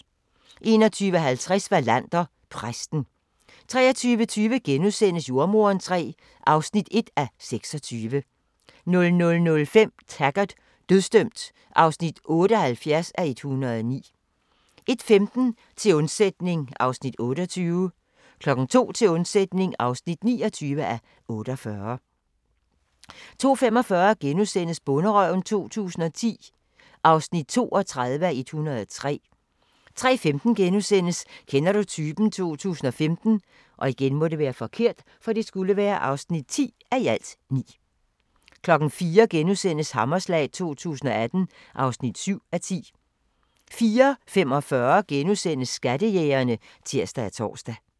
21:50: Wallander: Præsten 23:20: Jordemoderen III (1:26)* 00:05: Taggart: Dødsdømt (78:109) 01:15: Til undsætning (28:48) 02:00: Til undsætning (29:48) 02:45: Bonderøven 2010 (32:103)* 03:15: Kender du typen? 2015 (10:9)* 04:00: Hammerslag 2018 (7:10)* 04:45: Skattejægerne *(tir og tor)